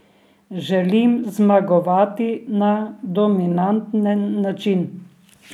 Želim zmagovati na dominanten način.